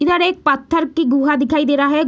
इधर एक पत्थर की गुहा दिखाई दे रहा है।